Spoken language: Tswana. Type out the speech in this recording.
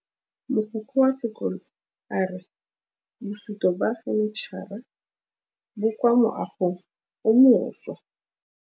Mogokgo wa sekolo a re bosutô ba fanitšhara bo kwa moagong o mošwa.